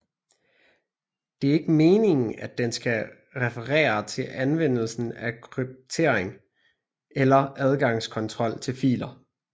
Det er ikke meningen at den skal referere til anvendelsen af kryptering eller adgangskontrol til filer